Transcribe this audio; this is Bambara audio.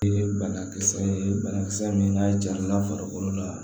Banakisɛ ye banakisɛ min n'a jar'a farikolo la